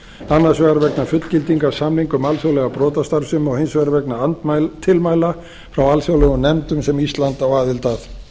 annars vegar vegna fullgildingar samninga um alþjóðlega brotastarfsemi og hins vegar vegna tilmæla frá alþjóðlegum nefndum sem ísland á aðild að